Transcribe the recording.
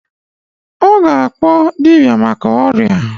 Oga akpo dibia maka oria